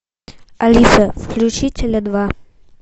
алиса включи теле два